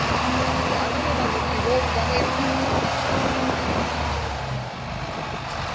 le ananela botebong ba maikut